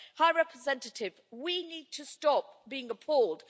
High Representative, we need to stop being appalled.